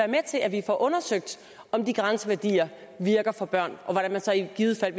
med til at vi får undersøgt om de grænseværdier virker for børn og hvordan man så i givet fald